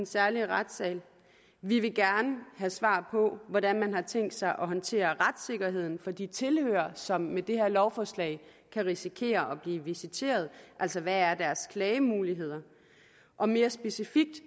særlige retssal vi vil gerne have svar på hvordan man har tænkt sig at håndtere retssikkerheden for de tilhørere som med det her lovforslag kan risikere at blive visiteret alså hvad deres klagemuligheder er og mere specifikt